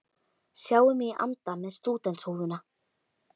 Sjái mig í anda með stúdentshúfuna.